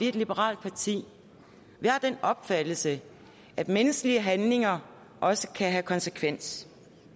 et liberalt parti og opfattelse at menneskelige handlinger også kan have konsekvens